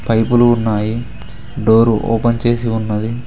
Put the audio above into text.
పైపులు ఉన్నాయి door open చేసి ఉన్నది.